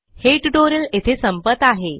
हे ट्यूटोरियल येथे संपत आहे